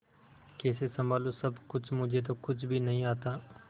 कैसे संभालू सब कुछ मुझे तो कुछ भी नहीं आता